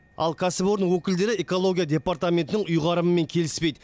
ал кәсіпорын өкілдері экология департаментінің ұйғарымымен келіспейді